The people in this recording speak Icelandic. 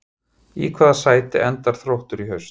Í hvaða sæti endar Þróttur í haust?